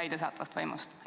täidesaatvast võimust?